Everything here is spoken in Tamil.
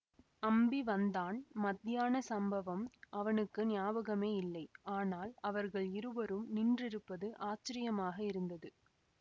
அம்பி வந்தான் மத்தியான சம்பவம் அவனுக்கு ஞாபகமே இல்லை ஆனால் அவர்கள் இருவரும் நின்றிருப்பது ஆச்சரியமாக இருந்தது